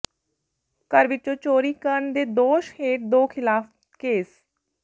ਘਰ ਵਿੱਚੋਂ ਚੋਰੀ ਕਰਨ ਦੇ ਦੋਸ਼ ਹੇਠ ਦੋ ਖ਼ਿਲਾਫ਼ ਕੇਸ